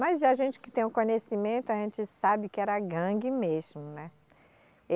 Mas a gente que tem o conhecimento, a gente sabe que era gangue mesmo, né?